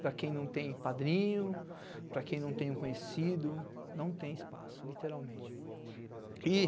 Para quem não tem padrinho, para quem não tem um conhecido, não tem espaço, literalmente. E